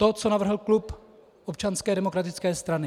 To, co navrhl klub Občanské demokratické strany.